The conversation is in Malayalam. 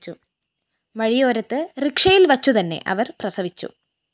വഴിയോരത്ത് റിക്ഷയില്‍ വച്ചുതന്നെ അവര്‍ പ്രസവിച്ചു